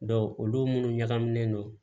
olu munnu ɲagaminen don